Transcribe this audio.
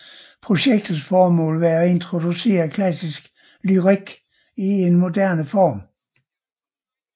Projektets formål var at introducere klassisk lyrik i en moderne form